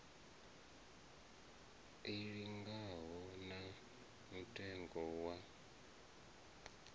i linganaho na mutengo wa